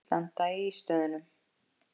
Ekki standa í ístöðunum!